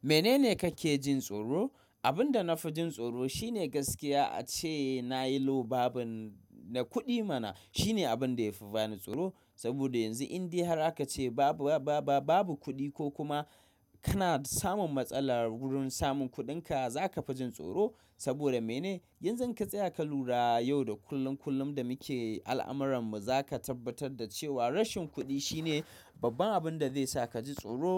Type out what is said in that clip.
Menene kake jin tsoro? Abin da na fi jin tsoro shine gaskiya ace na yi lo babur, na kuɗi mana. Shine abin da yafi bani tsoro saboda yanzu in dai har aka ce babu, ba, ba, babu kuɗi ko kuma kana samun matsala wurin samun kuɗinka, zaka fi jin tsoro. Saboda mene? Yanzu in ka tsaya ka lura yau da kullum kullum da muke al'amuran mu, zaka tabbatar da cewa rashin kuɗi shine babban abin da zai sa kaji tsoro.